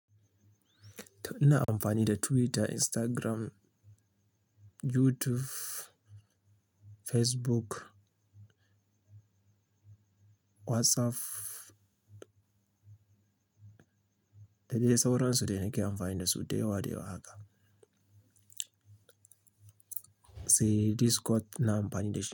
Ina amfani da Twitter, Instagram, YouTube, Facebook, WhatsApp. Da dai sauran su duka yan amfani da su. Dayawa daya haka. Sai Discord na amfani da shi.